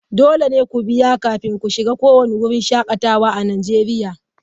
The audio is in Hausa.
Dole ne ku biya kafin ku shiga kowane wurin shakatawa a Najeriya.